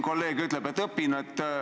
Kolleeg ütleb, et ma alles õpin.